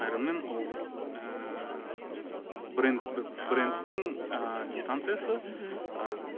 аэронмен ол ыыы бренд брендтің ыыы дистанциясы мхм ы